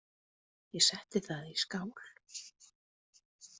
Ég setti það í skál.